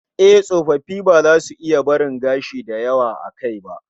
Eh, tsofaffi ba za su iya barin gashi da yawa a kai ba